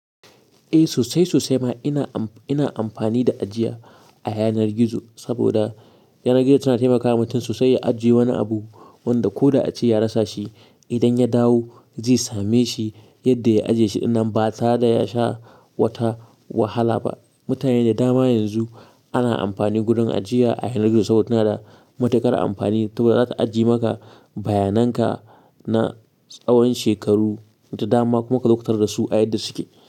Eh sosai sosai ma ina amfani da ajiya a yanar gizo saboda yanar gizo tana taimakawa mutum sosai ya ajiye wani abu wanda ko da ya ce ya rasa shi idan ya dawo zai same shi yadda ya ajiye shi dinnan ba tare da ya sha wata wahala ba. Mutane da dama yanzu ana amfani gurin ajiya a yanar gizo saboda tana da matuƙar amfani to za ta ajiye maka bayanan ka na tsawon shekaru da dama kuma kazo ka tarar da su a yadda suke.